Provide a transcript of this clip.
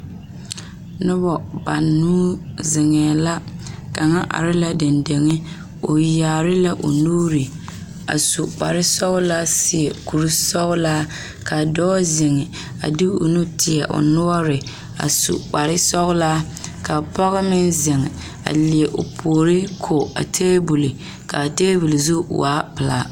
Nona banuu zeŋee la kaŋa are la la dendeŋe o yaare la o nuure a su kpar sɔgelaa seɛ kuri sɔgelaa ka dɔɔ zeŋ de o nu tie o noɔre a su kpar sɔgelaa ka pɔge meŋ zeŋ a leɛ o puori ko a taabol kaa taabol zu waa pelaa